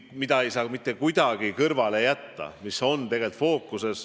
Seda ei saa mitte kuidagi kõrvale jätta.